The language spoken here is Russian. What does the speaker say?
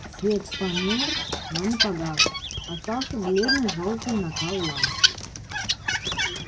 свет померк но не погас остался бледный жёлтый накал ламп